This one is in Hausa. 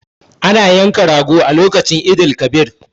Ana yanka rago a lokacin Eid el- kabir